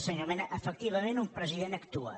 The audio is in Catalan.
senyor mena efectivament un president actua